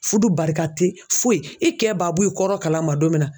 Fudu barika te foyi e kɛ baa bɔ i kɔrɔ kalama don min na